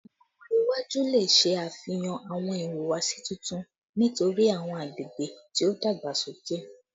Awọn ọmọde iwaju le ṣe afihan awọn ihuwasi tuntun nitori awọn agbegbe ti o dagbasoke